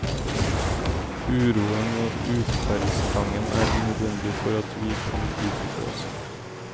Uroen og utferdstrangen er nødvendig for at vi kan utvikle oss.